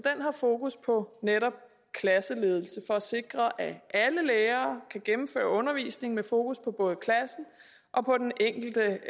har fokus på netop klasseledelse for at sikre at alle lærere kan gennemføre undervisning med fokus på både klassen og på den enkelte